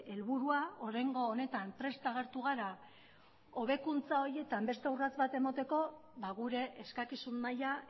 helburua oraingo honetan prest agertu gara hobekuntza horietan beste urrats bat emateko gure eskakizun maila